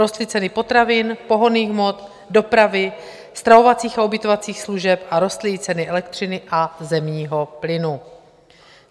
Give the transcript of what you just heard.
Rostly ceny potravin, pohonných hmot, dopravy, stravovacích a ubytovacích služeb a rostly i ceny elektřiny a zemního plynu.